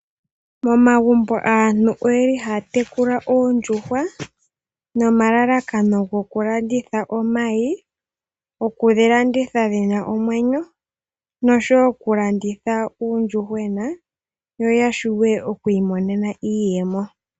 Momagumbo aantu oyeli haya tekula oondjuhwa nomalalakano gokulanditha omayi nokudhilanditha dhina omwenyo noshowoo okulanditha uuyuhwena noya vule okwiimonena iiyemo.